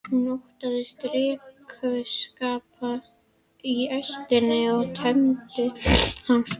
Hún óttaðist drykkjuskap í ættinni og tengdi hann flugi.